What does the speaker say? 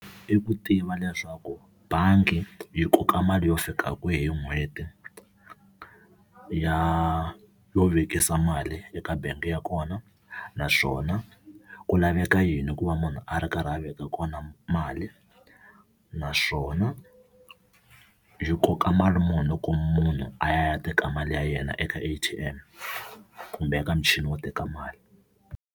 I ku tiva leswaku bangi yi koka mali yo fika kwihi hi n'hweti ya yo vekisa mali eka bangi ya kona, naswona ku laveka yini ku va munhu a ri karhi a veka kona mali naswona yi koka mali muni loko munhu a ya teka mali ya yena eka A_T_M kumbe eka michini yo teka mali.